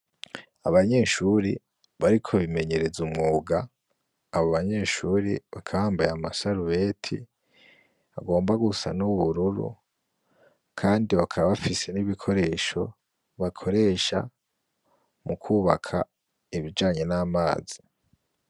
Abanyeshuri bariko bimenyereza umwuga. Abo banyeshuri bakaba bambaye amasarubeti agomba gusa n'ubururu kandi bakaba bafise n'ibikoresho bakoresha bakubaka ibijanye n'amazi.